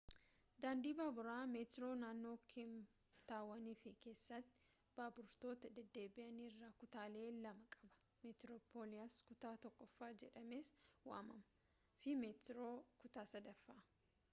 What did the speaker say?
daandiin baaburaa meetroo naannoo keeptaawon fi keessasaatti baaburoota deddeebi’an irraa kutaalee lama qaba: meetiroopilaas kutaa tokkoffaa jedhamees waamama fi meetiroo kutaa 3ffaa